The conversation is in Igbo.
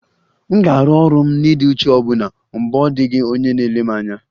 M ga-arụ ọrụ m n'ịdị uchu ọbụna mgbe ọ dịghị onye na-ele anya